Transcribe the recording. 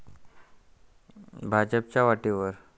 भाजपच्या वाटेवर.